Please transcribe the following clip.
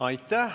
Aitäh!